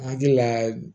Hakili la